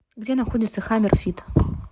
где находится хаммер фит